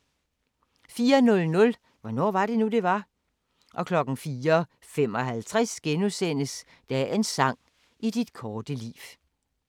04:00: Hvornår var det nu, det var? 04:55: Dagens sang: I dit korte liv *